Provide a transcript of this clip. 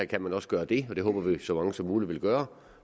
kan man også gøre det og det håber vi at så mange som muligt vil gøre